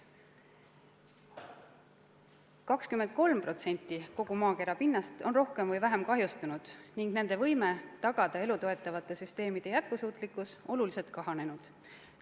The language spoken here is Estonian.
23% kogu maakera pinnast on rohkem või vähem kahjustunud ning nende alade võime tagada elu toetavate süsteemide jätkusuutlikkus on oluliselt kahanenud.